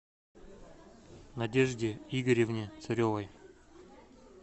надежде игоревне царевой